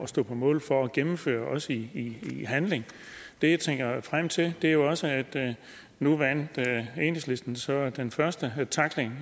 stå på mål for at gennemføre også i handling det jeg tænker frem til er jo også at nu vandt enhedslistens så den første tackling